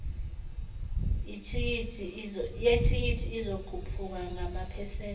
yethikithi izokhuphuka ngamaphesenti